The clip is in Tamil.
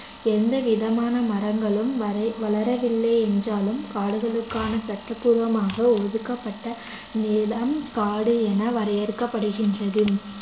எந்த விதமான மரங்களும் வரை~ வளரவில்லை என்றாலும் காடுகளுக்கான சட்டப்பூர்வமாக ஒதுக்கப்பட்ட நிலம் காடு என வரையறுக்கப்படுகின்றது